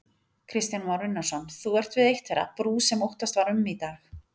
Kristján Már Unnarsson, þú ert við eitt þeirra, brú sem óttast var um í dag?